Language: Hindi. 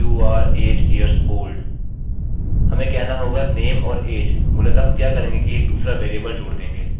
हमें कहना होगा name और age मूलतः हम क्या करेंगे कि एक दूसरा वेरिएबल जोड़ देंगे